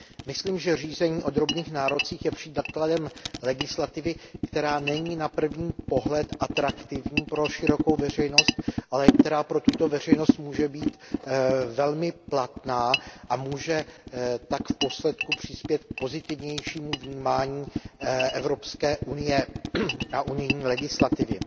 Myslím, že řízení o drobných nárocích je příkladem legislativy, která není na první pohled atraktivní pro širokou veřejnost, ale která pro tuto veřejnost může být velmi platná a může tak v důsledku přispět k pozitivnějšímu vnímání Evropské unie a unijní legislativy.